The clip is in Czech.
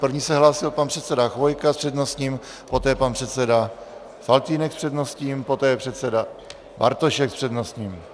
První se hlásil pan předseda Chvojka s přednostním, poté pan předseda Faltýnek s přednostním, poté předseda Bartošek s přednostním.